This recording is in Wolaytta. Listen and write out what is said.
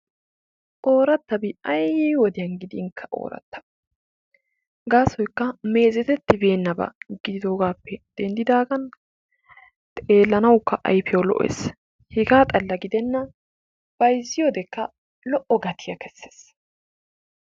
Ooratabi ayyii wodiyaankka oorata gaasoykka meezetetibeenaba giddidoogaappe dendaagaan xeelanawukkaa ayfiyaw lo'ees; hegaa xalla gidena bayziyoodekka lo'o gatiiyaa kessees.